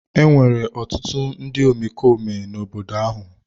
Enwere ọtụtụ ndị omekome n'obodo ahụ.